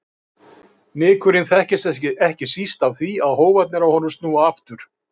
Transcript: Nykurinn þekkist ekki síst af því að hófarnir á honum snúa aftur.